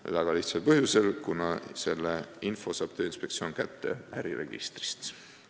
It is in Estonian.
Seda väga lihtsal põhjusel: selle info saab Tööinspektsioon kätte äriregistrist.